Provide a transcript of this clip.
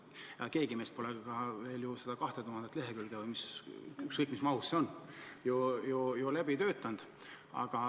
Keegi meist pole veel seda 2000 lehekülge – või ükskõik kui mahukas see on – ju läbi töötanud.